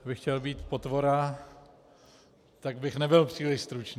Kdybych chtěl být potvora, tak bych nebyl příliš stručný.